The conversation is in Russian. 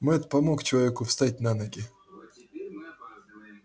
мэтт помог человеку встать на ноги